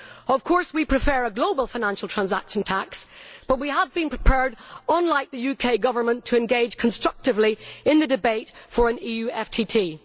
Of course we prefer a global financial transaction tax, but we have been prepared, unlike the UK Government, to engage constructively in the debate for an EU FTT.